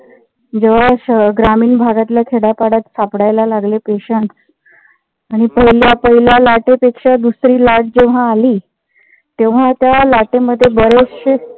जेव्हा ग्रामीण भागातल्या खेड्या पाड्यात सापडायला लागले patients आणि पहिल्या पहिल्या लाटे पेक्षा दुसरी लाट जेव्हा आली. तेव्हा त्या लाटेमध्ये बरेचशे